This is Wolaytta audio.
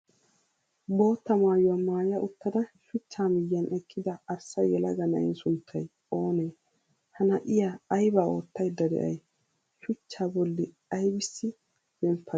Bootta maayuwa maaya uttada shuchchaa miyan eqqida arssa yelaga na'ee sunttay oonee? Ha na'iya aybaa oottaydda de'ay shuchchaa bolli aybissi zemppadee?